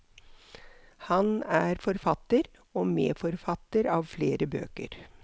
Han er forfatter og medforfatter av flere bøker.